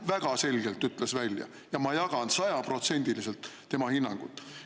Väga selgelt ütles välja ja ma jagan sajaprotsendiliselt tema hinnangut.